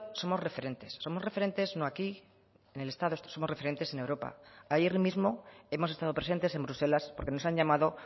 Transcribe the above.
somos referentes somos referentes no aquí en el estado somos referentes en europa ayer mismo hemos estado presentes en bruselas porque nos han llamado